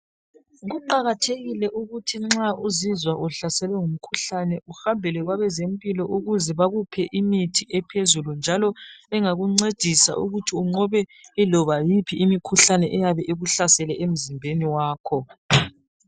Kuqakathekile ukuthi nxa uzizwa uhlaselwe ngumkhuhlane uhambele kwabezempilo ukuze bakuphe imithi ephezulu njalo engakuncedisa ukuthi unqoba yiloba yiphi imikhuhlane eyabe ikuhlasele emzimbeni wakho.